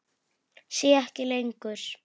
Sé ekki lengur.